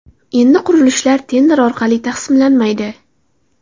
Endi qurilishlar tender orqali taqsimlanmaydi.